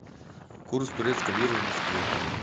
курс турецкой лиры в москве